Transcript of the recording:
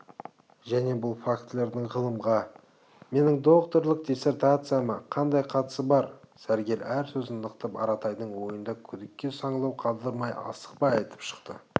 және бұл фактілердің ғылымға менің докторлық диссертацияма қандай қатысы бар сәргел әр сөзін нықтап аратайдың ойында күдікке саңлау қалдырмай асықпай айтып шықты